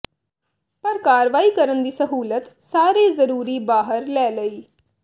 ਪਰ ਕਾਰਵਾਈ ਕਰਨ ਦੀ ਸਹੂਲਤ ਸਾਰੇ ਜ਼ਰੂਰੀ ਬਾਹਰ ਲੈ ਲਈ